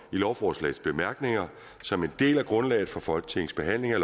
i lovforslagets bemærkninger som en del af grundlaget for folketingets behandling af